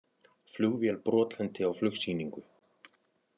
Flugvél brotlenti á flugsýningu